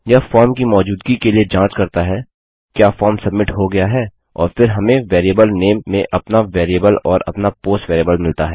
यह फॉर्म की मौजूदगी के लिए जाँच करता है क्या फॉर्म सब्मिट हो गया है और फिर हमें वेरिएबल नेम में अपना वेरिएबल और अपना पोस्ट वेरिएबल मिलता है